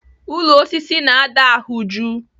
Ụlọ osisi na-ada ahụ jụụ.